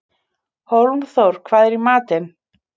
Hólmþór, hvað er í matinn?